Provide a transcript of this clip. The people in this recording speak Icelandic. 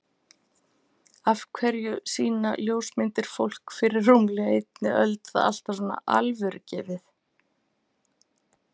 Af hverju sýna ljósmyndir fólk fyrir rúmlega einni öld það alltaf svo alvörugefið?